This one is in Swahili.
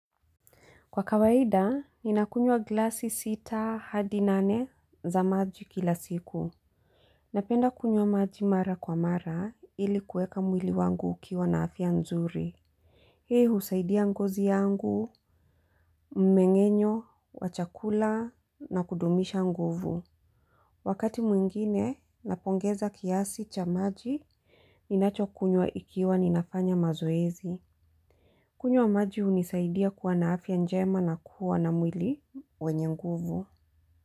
Kwa kawaida, ninakunywa glasi sita hadi nane za maji kila siku. Napenda kunywa maji mara kwa mara ili kueka mwili wangu ukiwa na afya nzuri. Hii husaidia ngozi yangu, mmengenyo, wa chakula na kudumisha nguvu. Wakati mwingine, napongeza kiasi cha maji, ninacho kunywa ikiwa ninafanya mazoezi. Kunywa maji hunisaidia kuwa na afya njema na kuwa na mwili wenye nguvu.